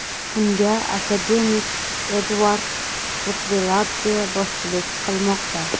Unga akademik Edvard Rtveladze boshchilik qilmoqda.